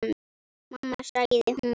Mamma sagði hún.